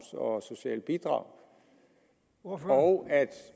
og sociale bidrag og at